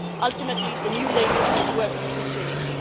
Ultimately, the new label has to work for consumers.